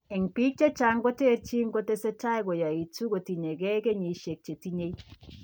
En biik che terterchin ko tesetai koyaitu kotien gee kenysiek chetinye